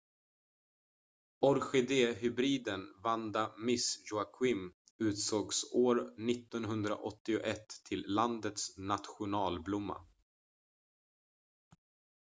orkidéhybriden vanda miss joaquim utsågs år 1981 till landets nationalblomma